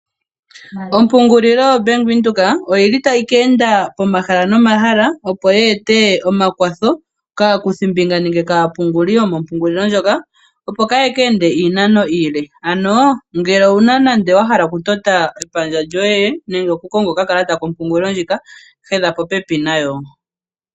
Ompungulilo yaBank Windhoek oyili tayi keenda pomahala nomahala, opo yeete omakwatho kaakuthimbinga nenge kaapunguli yomompungulilo ndjoko, opo kaaya keende iinano iile. Ngele owuna nenge wahala okutota epandja lyoye nenge okukonga okakalata kompungulilo ndjika, hedha popepi nayo.